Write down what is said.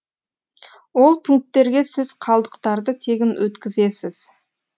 ол пунктерге сіз қалдықтарды тегін өткізесіз